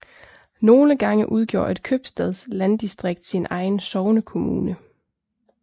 Nogle gange udgjorde et købstadslanddistrikt sin egen sognekommune